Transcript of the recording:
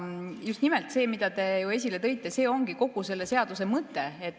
Just nimelt see, mida te ju esile tõite, ongi kogu selle seaduse mõte.